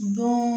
Don